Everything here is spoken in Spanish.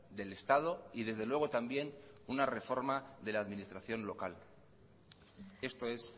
del estado y desde luego también una reforma de la administración local esto es